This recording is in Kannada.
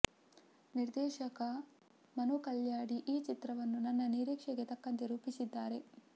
ನಿರ್ದೇಶಕ ಮನು ಕಲ್ಯಾಡಿ ಈ ಚಿತ್ರವನ್ನು ನನ್ನ ನಿರೀಕ್ಷೆಗೆ ತಕ್ಕಂತೆ ರೂಪಿಸಿದ್ದಾರೆ